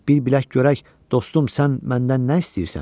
Bir bilək görək, dostum, sən məndən nə istəyirsən?